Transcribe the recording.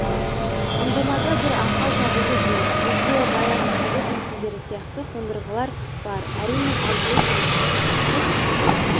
ұңғымада бір ақау табылды дейік бізде баяғы совет тәсілдері сияқты қондырғылар бар әрине алдымен жұмысты тоқтатып